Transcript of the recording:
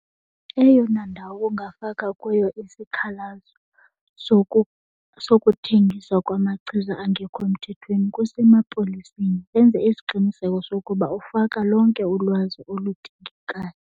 Eyona ndawo ungafaka kuyo isikhalazo sokuthengiswa kwamachiza angekho mthethweni kusemapoliseni, enze isiqiniseko sokuba ufaka lonke ulwazi oludingekayo.